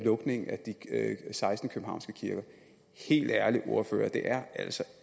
lukningen af de seksten københavnske kirker helt ærligt det er altså